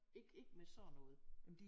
Ikke ikke med sådan noget